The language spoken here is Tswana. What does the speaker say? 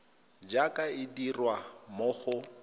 jaaka e dirwa mo go